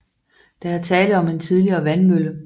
Der er tale om en tidligere vandmølle